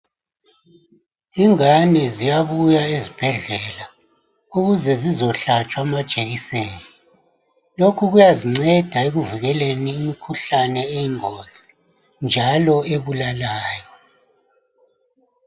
Ingane ziyabuya ezibhedlela ukuze zizohlatshwa amajekiseni .Lokhu kuyazinceda ekuvikeleni imikhuhlane eyingozi njalo ebulalayo.